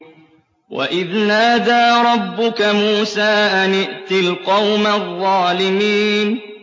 وَإِذْ نَادَىٰ رَبُّكَ مُوسَىٰ أَنِ ائْتِ الْقَوْمَ الظَّالِمِينَ